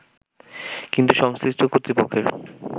কিন্তু সংশ্লিষ্ট কর্তৃপক্ষের